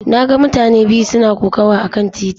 Na ga mutane biyu suna kokawa akan titi.